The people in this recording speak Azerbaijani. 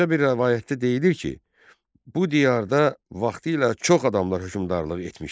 Başqa bir rəvayətdə deyilir ki, bu diyarda vaxtilə çox adamlar hökmdarlıq etmişlər.